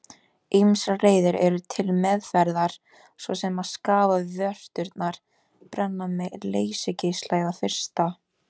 Ýmsar leiðir eru til meðferðar svo sem að skafa vörturnar, brenna með leysigeisla eða frysta.